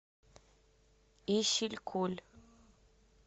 исилькуль